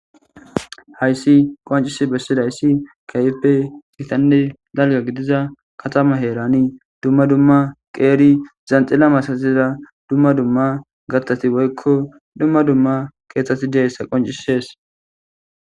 Hayssi qoncisi bessidayssi kayipe itanne dalga gidiza katama heerani dumma dumma qeeri zanxilla masaziza dumma dumma gattati woykko dumma dumma keexxeti deeyssa qoncisees.